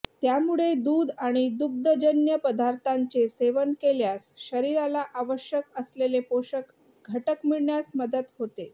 त्यामुळे दूध आणि दुग्धजन्य पदार्थांचे सेवन केल्यास शरीराला आवश्यक असलेले पोषक घटक मिळण्यास मदत होते